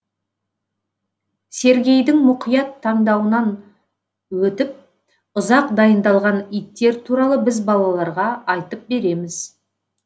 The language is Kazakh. сергейдің мұқият таңдауынан өтіп ұзақ дайындалған иттер туралы біз балаларға айтып береміз